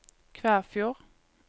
Kvæfjord